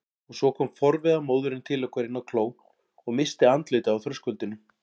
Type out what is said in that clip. Og svo kom forviða móðirin til okkar inn á kló og missti andlitið á þröskuldinum.